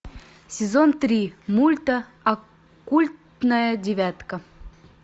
сезон три мульта оккультная девятка